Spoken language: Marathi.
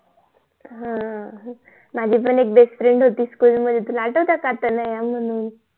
माझी पण एक BEST FRIEND होती SCHOOL मध्ये तुला आठवते का तनया म्हणून